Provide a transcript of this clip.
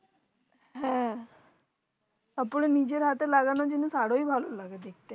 হ্যাঁ তার পরে নিজের হাতে লাগানো জিনিস আরোই ভালো লাগে দেখতে